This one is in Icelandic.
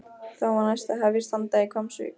Þá var næst að hefjast handa í Hvammsvík.